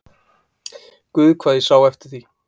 Guð hvað ég sá eftir því!